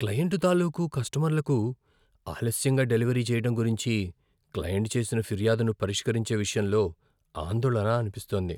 Client తాలూకు కస్టమర్లకు ఆలస్యంగా డెలివరీ చేయడం గురించి క్లయింట్ చేసిన ఫిర్యాదును పరిష్కరించే విషయంలో ఆందోళన అనిపిస్తోంది.